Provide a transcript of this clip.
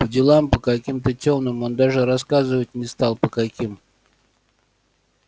по делам по каким-то тёмным он даже рассказывать не стал по каким